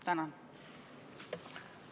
Tänan!